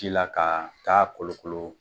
Ji la ka taa kolokolo